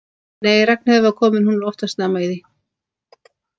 Nei, Ragnheiður var komin, hún er oftast snemma í því.